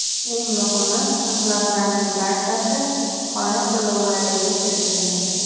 Eng muhimi, xizmatlarning barchasi xona to‘lovlariga kiritilgan.